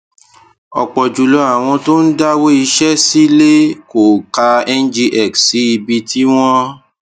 ọ̀pọ̀ jùlọ àwọn tó ń dáwó iṣẹ́ sílẹ̀ kò ka ngx sí ibi tí wọ́n